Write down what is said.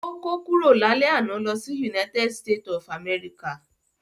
Ó kó kúrò lálẹ́ àná lọ sí United state of America